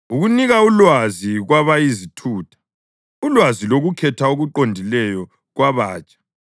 ukunika ulwazi kwabayizithutha, ulwazi lokukhetha okuqondileyo kwabatsha